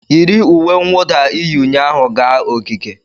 yi uwe mwụda ị yi ụnyaahụ gaa ogige!